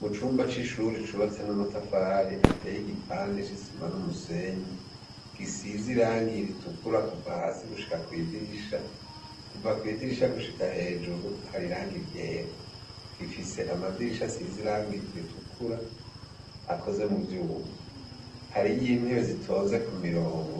Mu cumba c'ishuri cubatse n'amatafari ateye igipande c'isima n'umusenyi gisize irangi ritukura kuva hasi gushika kw'idirisha, kuva kwidirisha gushika hejuru hari irangi ryera, gifise amadirisha asize irangi ritukura akoze mu vyuma, hariyo intebe zitonze ku mirongo